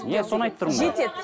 енді соны айтып тұрмын ғой жетеді